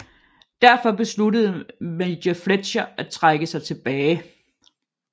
Derfor besluttede major Fletcher at trække sig tilbage